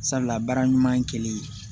Sabula baara ɲuman kɛlen